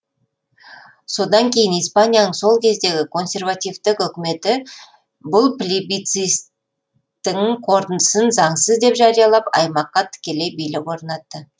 содан кейін испанияның сол кездегі консервативтік үкіметі бұл плеби цист тің қорытындысын заңсыз деп жариялап аймаққа тікелей билік орнатты